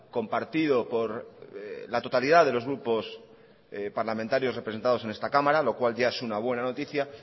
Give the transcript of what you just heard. compartido por la totalidad de los grupos parlamentarios representados en esta cámara lo cual ya es una buena noticia